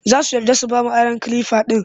Za su yarda su ba mu aron kalifa ɗin